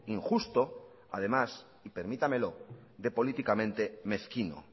injusto y además y permítamelo políticamente mezquino